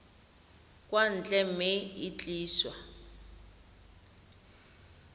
kwa ntle mme e tliswa